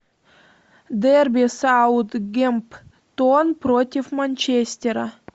дерби саутгемптон против манчестера